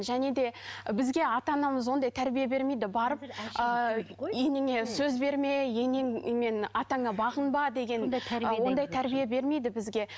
және де бізге ата анамыз ондай тәрбие бермейді барып ы енеңе сөз берме енең мен атаңа бағынба деген ондай тәрбие бермейді бізге